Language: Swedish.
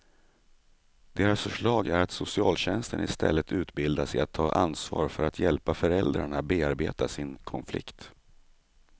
Deras förslag är att socialtjänsten istället utbildas i att ta ansvar för att hjälpa föräldrarna bearbeta sin konflikt.